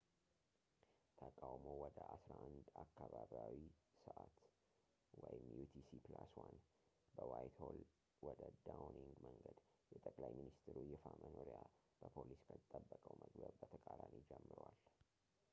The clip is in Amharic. ተቃውሞው ወደ 11፡00 አካባቢያዊ ሰዕት utc+1 በዋይትሆል ወደ ዳውኒንግ መንገድ፣ የጠቅላይ ሚኒስተሩ ይፋ መኖሪያ በፖሊስ ከተጠበቀው መግቢያ በተቃራኒ ጀምሯል